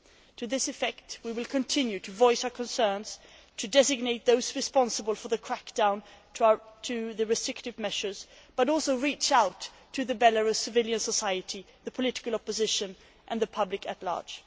To this effect, we will continue to voice our concerns, to designate those responsible for the crackdown and the restrictive measures, but we will also reach out to Belarus civil society, the political opposition and the public at large.